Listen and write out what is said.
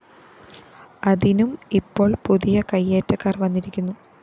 അതിനും ഇപ്പോള്‍ പുതിയ കയ്യേറ്റക്കാര്‍ വന്നിരിക്കുന്നു